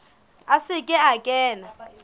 a se ke a kena